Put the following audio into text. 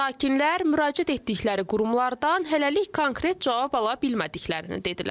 Sakinlər müraciət etdikləri qurumlardan hələlik konkret cavab ala bilmədiklərini dedilər.